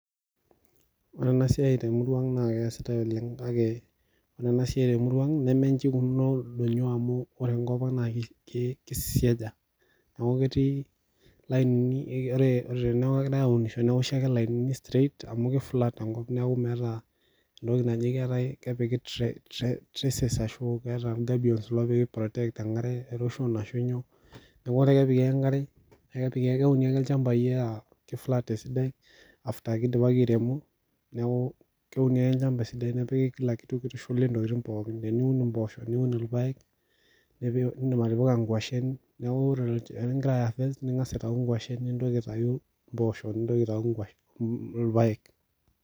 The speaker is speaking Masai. ore ena siai temurua ang naa keesitae oleng, kake ore ena siai temurua ang nemenji eikununo ildonyo amu ore enkop ang naa ki kisiaja. neeku ketii lainini, ore teneeku kegirae aunisho newoshi ake lainini straight amu ki flat enkop neeku meeta entoki naji keetae kepiki tre tre trases ashu keeta gabions loopiki ei protect enkare erosion ashu nyoo, neeku kepiki ake enkare, kepiki keuni ake ilchambai aa kiflat esidai after ake eidipaki airemo neeku keuni ake olchamba esidai nepiki kila kitu kitushuli ntokiting pookin teniun mpoosho niun irpaek, neeku indim atipika nguashen, neeku ore olch olikingira ai affect ning'as aitayu nguashen, nintoki aitau mpoosho nintoki aitau nguashen, mm ilpaek.